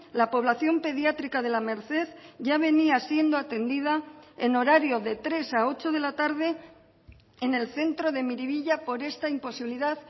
la población pediátrica de la merced ya venía siendo atendida en horario de tres a ocho de la tarde en el centro de miribilla por esta imposibilidad